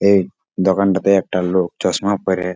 এই দোকানটাতে একটা লোক চশমা পরে --